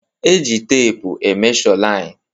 E ji teepu e mesho lain